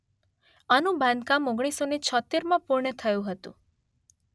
આનું બાંધકામ ઓગણીસોને છોંતેરમાં પૂર્ણ થયું હતું